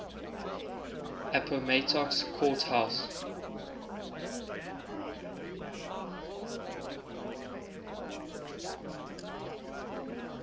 appomattox court house